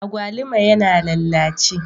Agwaluma yana lallace.